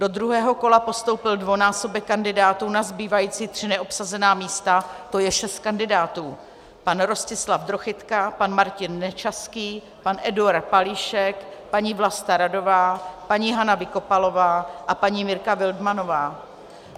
Do druhého kola postoupil dvojnásobek kandidátů na zbývající tři neobsazená místa, to je šest kandidátů: pan Rostislav Drochytka, pan Martin Nečaský, pan Eduard Palíšek, paní Vlasta Radová, paní Hana Vykopalová a paní Mirka Wildmannová.